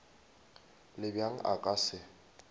le bjang a ka se